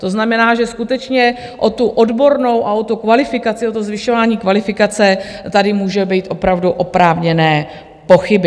To znamená, že skutečně o tu odbornou a o tu kvalifikaci, o to zvyšování kvalifikace tady můžou být opravdu oprávněné pochyby.